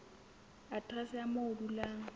aterese ya moo o dulang